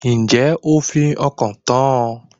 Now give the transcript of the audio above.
Ǹjẹ́ o fi ọkàn tán ọ